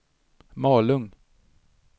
Malung